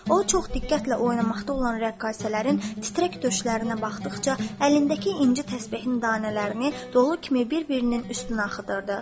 O çox diqqətlə oynamaqda olan rəqqasələrin titrək döşlərinə baxdıqca, əlindəki inci təsbehin dənələrini dolu kimi bir-birinin üstünə axıdırdı.